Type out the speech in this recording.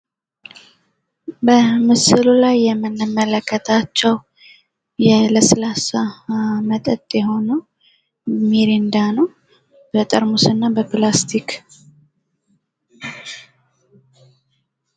በምስሉ ላይ የምንመለክታቸው ለስላሳ መጠጥ የሆነው ሚሪንዳ ነው። በጠርሙስ እና በፕላስቲክ